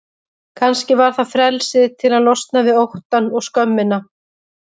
Kannski var það frelsið til að losna við óttann og skömmina.